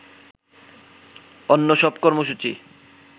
অন্য সব কর্মসূচি